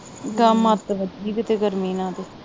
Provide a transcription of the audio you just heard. ਕੰਮ ਆਪੇ ਗਰਮੀ ਦੇ ਨਾਂ ਤੇ।